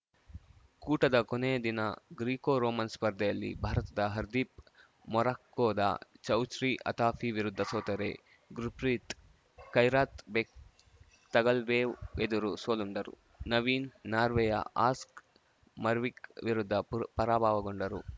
ಕೂಟದ ಕೊನೆಯ ದಿನ ಗ್ರಿಕೋ ರೋಮನ್‌ ಸ್ಪರ್ಧೆಯಲ್ಲಿ ಭಾರತದ ಹರ್‌ದೀಪ್‌ ಮೊರಾಕ್ಕೊದ ಚೌಚ್ರಿ ಅತಾಫಿ ವಿರುದ್ಧ ಸೋತರೆ ಗುರ್‌ಪ್ರೀತ್‌ ಕೈರಾತ್‌ಬೆಕ್‌ ತಗಲ್ಬೇವ್‌ ಎದುರು ಸೋಲುಂಡರು ನವೀನ್‌ ನಾರ್ವೆಯ ಆಸ್ಕ್ ಮರ್ವಿಕ್‌ ವಿರುದ್ಧ ಪುರ್ ಪರಾಭವಗೊಂಡರು